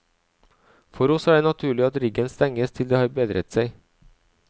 For oss er det naturlig at riggen stenges til det har bedret seg.